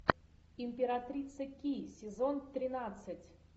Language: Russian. императрица ки сезон тринадцать